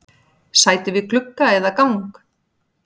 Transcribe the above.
Sæti við glugga eða gang?